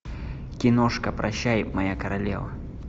киношка прощай моя королева